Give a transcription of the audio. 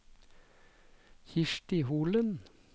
Kirsti Holen